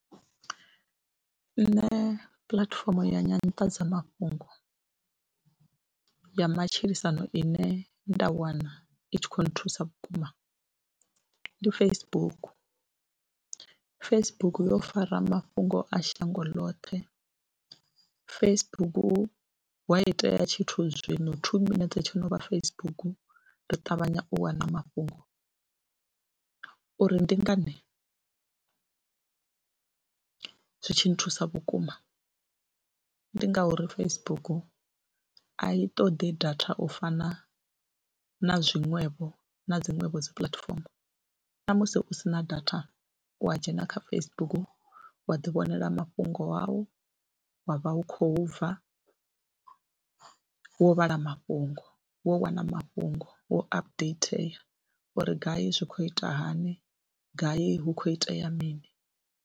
Nṋe puḽatifomo ya nyanḓadzamafhungo ya matshilisano ine nda wana i tshi khou nthusa vhukuma ndi Facebook. Facebook yo fara mafhungo a shango ḽoṱhe, Facebook wa itea tshithu zwino two minetse tsho no vha Facebook ri ṱavhanya u wana mafhungo uri ndi ngani zwi tshi thusa vhukuma ndi ngauri Facebook a i ṱoḓi data u fana na zwiṅwevho na dziṅwevho dzi puḽatifomo na musi u si na data ya u dzhena kha Facebook wa ḓi vhonela mafhungo au wa vha hu khou bva, wo vhala mafhungo, wo wana mafhungo, wo updater uri gai zwi khou ita hani, gai hu khou itea mini.